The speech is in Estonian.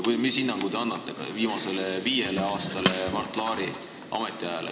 Millise hinnangu te annate viimasele viiele aastale, Mart Laari ametiajale?